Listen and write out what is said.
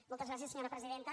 moltes gràcies senyora presidenta